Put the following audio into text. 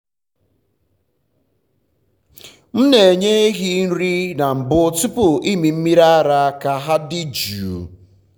m na-enye ehi nri na mbụ tupu ịmị mmiri ara ka ha dị jụụ.